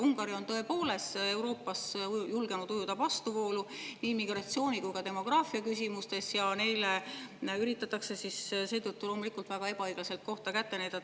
Ungari on tõepoolest Euroopas julgenud ujuda vastuvoolu nii immigratsiooni- kui ka demograafiaküsimustes ja neile üritatakse seetõttu loomulikult väga ebaõiglaselt kohta kätte näidata.